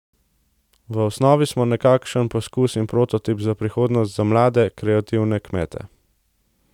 V osnovi smo nekakšen poskus in prototip za prihodnost za mlade, kreativne kmete.